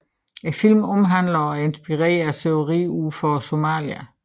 Filmen omhandler og er inspireret af sørøveri ud for Somalia